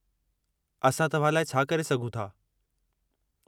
असां तव्हां लाइ छा करे सघूं था?